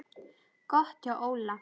Gott hjá Óla.